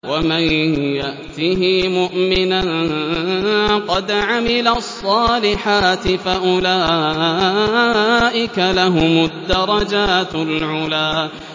وَمَن يَأْتِهِ مُؤْمِنًا قَدْ عَمِلَ الصَّالِحَاتِ فَأُولَٰئِكَ لَهُمُ الدَّرَجَاتُ الْعُلَىٰ